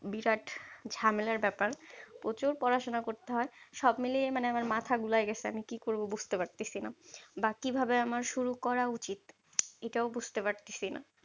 বিরাট ঝামেলার ব্যাপার। প্রচুর পড়াশোনা করতে হয়। সব মিলিয়ে মানে আমার মাথার গুলাই গেছে, আমি কি করবো বুজতে পারতেছিনা? বা কি ভাবে আমার শুরু করা উচিত এটাও বুজতে পারতেছিনা?